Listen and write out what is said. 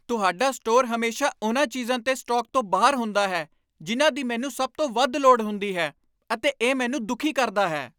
ਤੁਹਾਡਾ ਸਟੋਰ ਹਮੇਸ਼ਾ ਉਨ੍ਹਾਂ ਚੀਜ਼ਾਂ 'ਤੇ ਸਟਾਕ ਤੋਂ ਬਾਹਰ ਹੁੰਦਾ ਹੈ ਜਿਨ੍ਹਾਂ ਦੀ ਮੈਨੂੰ ਸਭ ਤੋਂ ਵੱਧ ਲੋੜ ਹੁੰਦੀ ਹੈ ਅਤੇ ਇਹ ਮੈਨੂੰ ਦੁਖੀ ਕਰਦਾ ਹੈ।